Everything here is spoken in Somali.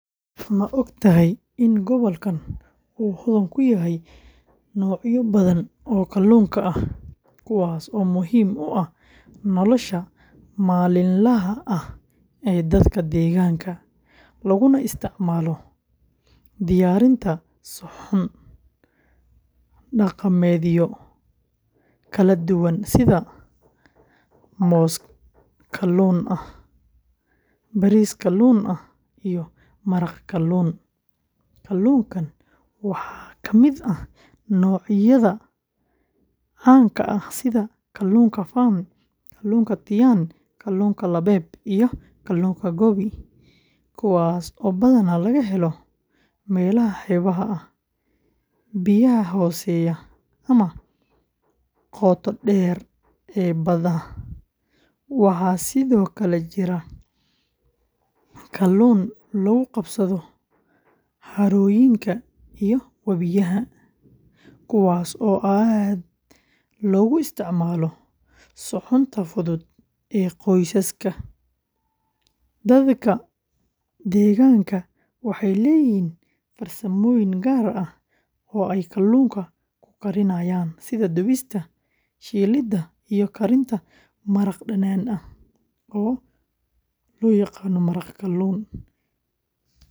Maogtahay in gobolkan u hoon kuyahay noocya badhan oo kalluunka ah kuwaaso muhim u ah nolasha malinlaha ah ee dadka deeganka, laguna isticmalo diyarinta suxun. Dhaqameedyo Kala duwan sidha moos kalluun ah, bariis kalluun ah, iyo maraq kalluun. Kalluunkan waxa kamid ah noocyadha caanka ah sidha kalluunka fawn, kalluunka diyan, kalluunka labeeb, iyo kalluunka gobi. Kuwaaso badhana lagahelo melaha xeebaha ah, biyaha hooseya ama qoota deer ee badhaha waxa sidhokale jira kalluun lagu qabsadho xaroyinka iyo wabiyaha kuwaas oo aad loga isticmalo suxunta fudhud iyo qoysaska. Dadka deeganka waxey leyihin farsamoyin gaar ah oo ay kalluunka kuqarinayan sidha dubista, shiilida iyo karinta maraq danaan ah oo loyaqana maraq kalluun.